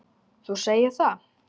Þú segir það!